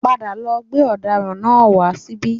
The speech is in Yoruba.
Ẹ padà lọ gbé ọdaràn náà wá síbí